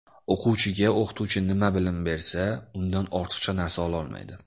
O‘quvchiga o‘qituvchi nima bilim bersa, undan ortiqcha narsa ololmaydi.